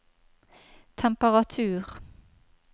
temperatur